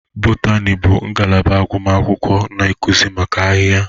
Botani bụ ngalaba agụmakwụkwọ na akuzi maka ahịhịa.